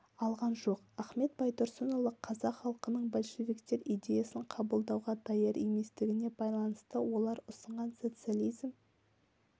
алған жоқ ахмет байтұрсынұлы қазақ халқының большевиктер идеясын қабылдауға даяр еместігіне байланысты олар ұсынған социализм